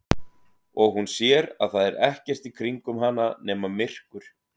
Og hún sér að það er ekkert í kringum hana nema myrkur.